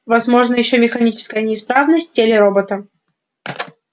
возможна ещё механическая неисправность в теле робота